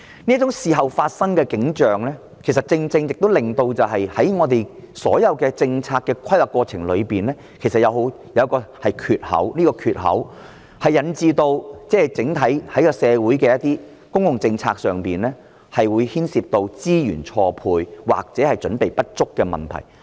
這種事後才進行調查的情況，正正令我們所有政策的規劃過程出現一個缺口。這個缺口引致整體社會在公共政策上，出現資源錯配或者準備不足的問題。